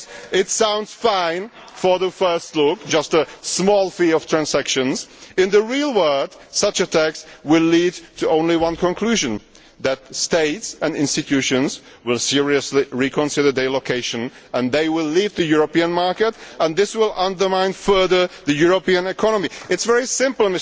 It sounds fine at first glance, just a small fee for transactions, but in the real world such a tax will lead to only one conclusion that countries and institutions will seriously reconsider their location and they will leave the European market and this will undermine further the European economy. It is very simple.